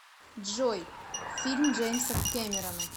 джой фильм джеймса кемерона